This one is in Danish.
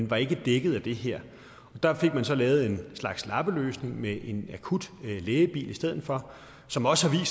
var ikke dækket af det her der fik man så lavet en slags lappeløsning med en akutlægebil i stedet for som også har